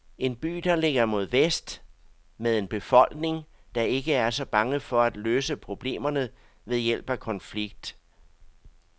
En by, der ligger mod vest, med en befolkning, der ikke er så bange for at løse problemerne ved hjælp af konflikt.